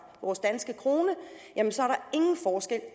vores danske krone